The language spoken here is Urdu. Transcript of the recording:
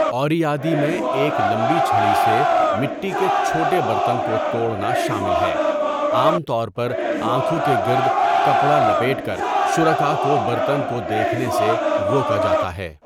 اوریادی میں ایک لمبی چھڑی سے مٹی کے چھوٹے بررتن کو توڑنا شامل ہے، عام طور پر آنکھوں کے گرد کپڑا لپیٹ کر شرکاء کو برتن کو دیکھنے سے روکا جاتا ہے۔